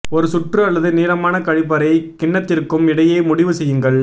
ஒரு சுற்று அல்லது நீளமான கழிப்பறை கிண்ணத்திற்கும் இடையே முடிவு செய்யுங்கள்